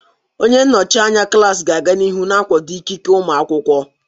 Onye nnọchi anya klaasị ga-aga n'ihu na-akwado ikike ụmụ akwụkwọ.